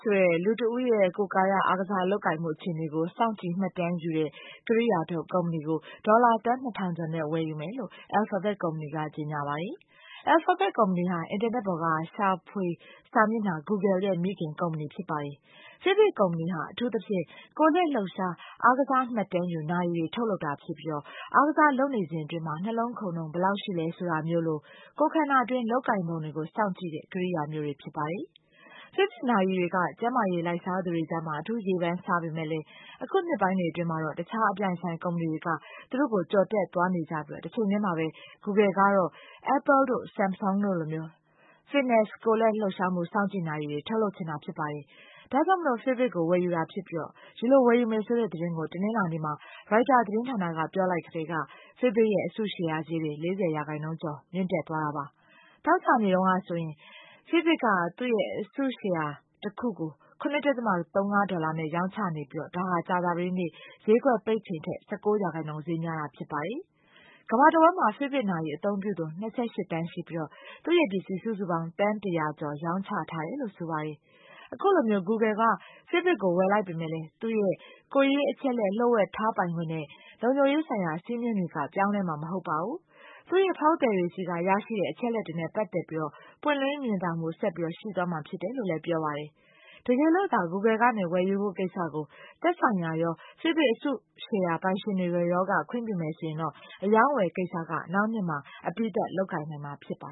ဆိုတဲ့ လူတဦးရဲ့ ကိုယ်ကာယ အားကစားလုပ်ကိုင်မှု အခြေအနေကို စောင့်ကြည့်မှတ်တမ်းယူတဲ့ ကိရိယာထုတ် ကုမ္ပဏီကို ဒေါ်လာ သန်း ၂ ထောင်ကျော်နဲ့ ဝယ်ယူမယ်လို့ Alphabet ကုမ္ပဏီက ကြေညာပါတယ်။ Alphabet ကုမ္ပဏီဟာ အင်တာနက်ပေါ်က ရှာဖွေစာမျက်နှာ Google ရဲ့ မိခင်ကုမ္ပဏီ ဖြစ်ပါတယ်။ Fitbit ကုမ္ပဏီဟာ အထူးသဖြင့် ကိုယ်လက်လှုပ်ရှား အားကစားမှတ်တမ်းယူ နာရီတွေ ထုတ်လုပ်တာဖြစ်ပြီး အားကစားလုပ်နေစဉ်အတွင်း နှလုံးခုန်နှုန်း ဘယ်လောက်ရှိတယ် ဆိုတာမျိုးလို ကိုယ်ခန္ဓာတွင်း လုပ်ကိုင်ပုံကို စောင့်ကြည့်တဲ့ ကိရိယာမျိုးတွေ ဖြစ်ပါတယ်။ Fitbit နာရီတွေက ကျန်းမာရေးလိုက်စားသူတွေကြား အထူးရေပန်းစားပေမယ့် အခုနှစ်ပိုင်းတွေ အတွင်းမှာတော့ တခြား အပြိုင်အဆိုင် ကုမ္ပဏီတွေက သူ့ကို ကျော်တက်သွားနေကြပြီး တချိန်တည်းမှာပဲ Google ကတော့ Apple တို့၊ Sumsung တို့လို Fitness ကိုယ်လက်လှုပ်ရှားမှု စောင့်ကြည့်နာရီတွေကို ထုတ်လုပ်ချင်တာ ဖြစ်ပါတယ်။ ဒါကြောင့် Fitbit ကို ဝယ်ယူတာဖြစ်ပြီး ဒီလို ဝယ်ယူမယ်ဆိုတဲ့သတင်းကို တနင်္လာနေ့မှာ ရိုက်တာသတင်းဌာနက ပြောလိုက်ကတည်းက Fitbit ရဲ့ အစုရှယ်ယာဈေးတွေ ၄၀ % ကျော် မြင့်တက်သွားပါတယ်။ သောကြာနေ့တုန်းကဆိုရင် Fitbit က သူ့အစုရှယ်ယာတခုကို ၇.၃၅ ဒေါ်လာနဲ့ ရောင်းချနေပြီး ဒါဟာ ကြာသပတေးနေ့ ဈေးကွက်ပိတ်ချိန်ထက် ၁၉ % ဈေးများတာ ဖြစ်ပါတယ်။ ကမ္ဘာတဝန်းမှာ Fitbit နာရီ အသုံးပြုသူ ၂၈ သန်းရှိပြီး သူ့ပစ္စည်း စုစုပေါင်း သန်း ၁၀၀ ကျော် ရောင်းချထားရတယ်လို့ ဆိုပါတယ်။ အခုလို Google က Fitbit ကို ဝယ်လိုက်ပေမယ့် သူ့ရဲ့ ကိုယ်ရေးအချက်အလက် လျှို့ဝှက်ထားပိုင်ခွင့်နဲ့ လုံခြုံရေးဆိုင်ရာ စည်းမျဉ်းတွေက ပြောင်းလဲမှာမဟုတ်ဘူး၊ သူ့ဖောက်သည်တွေဆီက ရရှိတဲ့ အချက်အလက်တွေနဲ့ ပတ်သက်ပြီးတော့ ပွင့်လင်းမြင်သာမှု ဆက်ပြီး ရှိသွားမှာဖြစ်တယ်လို့လည်း ပြောပါတယ်။ တကယ်လို့သာ Google ကနေ ဝယ်ယူဖို့ကိစ္စကို သက်ဆိုင်ရာရော၊ Fitbit အစုရှယ်ယာပိုင်ရှင်တွေရောက ခွင့်ပြုမယ်ဆိုရင် အရောင်းအဝယ်ကိစ္စက နောက်နှစ်မှာ အပြီးသတ်လုပ်နိုင်မှာ ဖြစ်ပါ